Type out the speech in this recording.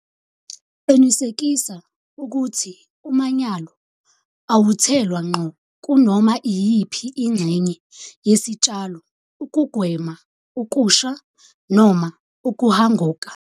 Qinisekisa ukuthi umanyolo awuthelwa ngqo kunoma iyiphi ingxenye yesitshalo ukugwema ukusha noma ukuhanguka.